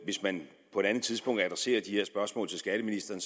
hvis man på et andet tidspunkt adresserer de her spørgsmål til skatteministeren